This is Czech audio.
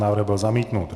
Návrh byl zamítnut.